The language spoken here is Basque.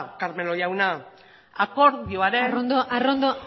carmelo jauna akordioaren arrondo arrondo